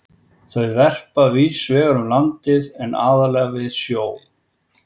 Þau verpa víðs vegar um landið en aðallega við sjó.